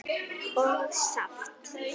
og saft.